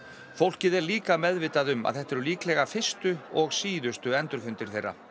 fólkið er líka meðvitað um að þetta eru líklega fyrstu og síðustu endurfundir þeirra